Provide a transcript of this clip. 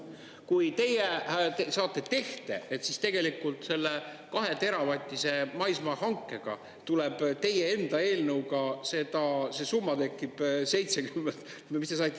Kui teie saate tehte, et tegelikult selle 2-teravatise maismaa hankega tuleb teie enda eelnõuga, see summa tekib – mis te saite?